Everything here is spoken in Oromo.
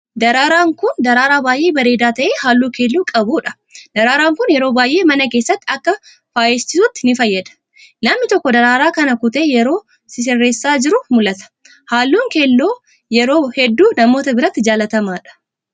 Daraaraan kun, daraaraa baay'ee bareedaa ta'e haalluu keelloo qabuu dha. Daraaraan kun, yeroo baay'ee mana keessatti akka faayeessituutti ni fayyada. Namni tokko, daraaraa kana kutee yeroo sisirreessaa jiru mul'ata. Haalluun keelloo ,yeroo hedduu namoota biratti jaalatamaa dha.